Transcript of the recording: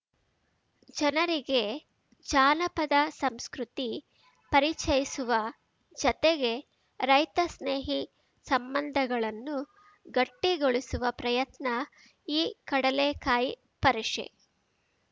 ಜನರಿಗೆ ಜನಪದ ಸಂಸ್ಕೃತಿ ಪರಿಚಯಿಸುವ ಜತೆಗೆ ರೈತ ಸ್ನೇಹಿ ಸಂಬಂಧಗಳನ್ನು ಗಟ್ಟಿಗೊಳಿಸುವ ಪ್ರಯತ್ನ ಈ ಕಡಲೆಕಾಯಿ ಪರಿಷೆ